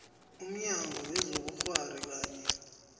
umnyango wezobukghwari kanye